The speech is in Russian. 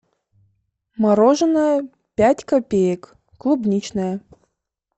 мороженое пять копеек клубничное